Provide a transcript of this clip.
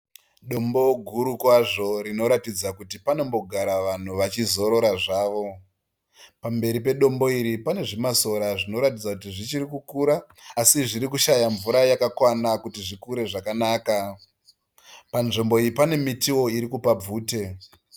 Dombo guru kwazvo rinoratidza kuti panombogara vanhu vachizorora zvavo. Pamberi pedombo iri pane zvimasora zvinoratidza kuti zvichiri kukura asi zviri kushaya mvura yakakwana kuti zvikure zvakanaka. Panzvimbo iyi pane mutiwo irikupa bvute.